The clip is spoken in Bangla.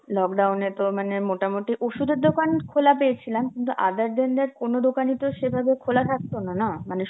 lockdown এ তো মানে মোটামুটি ওষুধের দোকান খোলা পেয়েছিলাম, কিন্তু other than that কোন দোকানইতো সেভাবে খোলা থাকতো না, না মানে